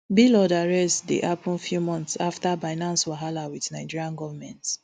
blord arrest dey happun few months afta binance wahala wit nigeria goment